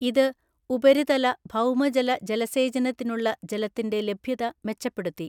ഇത് ഉപരിതല, ഭൗമജല ജലസേചനത്തിനുള്ള ജലത്തിന്‍റെ ലഭ്യത മെച്ചപ്പെടുത്തി.